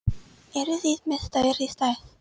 Eruð þið með stærri stærð?